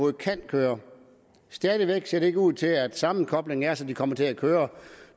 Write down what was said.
kan køre stadig væk ser det ikke ud til at sammenkoblingen er sådan at de kommer til at køre